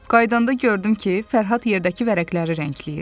Qayıdanda gördüm ki, Fərhad yerdəki vərəqləri rəngləyir.